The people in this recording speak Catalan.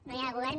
no hi ha govern